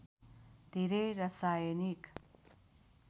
धेरै रसायनिक